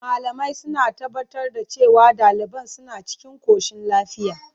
Malamai suna tabbatar da cewa daliban suna cikin koshin lafiya.